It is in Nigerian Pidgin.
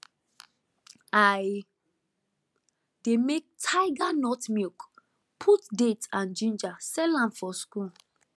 i dey make tiger nut milk put date and ginger sell am for school